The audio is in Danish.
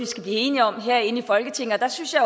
skal blive enige om herinde i folketinget der synes jeg